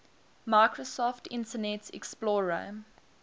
microsoft internet explorer